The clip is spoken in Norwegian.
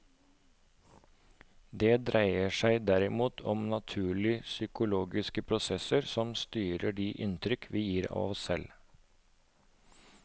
Det dreier seg derimot om naturlige psykologiske prosesser som styrer de inntrykk vi gir av oss selv.